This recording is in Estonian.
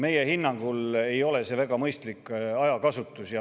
Meie hinnangul ei ole see väga mõistlik ajakasutus.